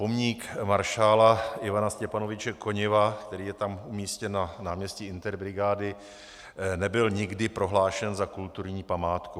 Pomník maršála Ivana Stěpanoviče Koněva, který je tam umístěn na náměstí Interbrigády, nebyl nikdy prohlášen za kulturní památku.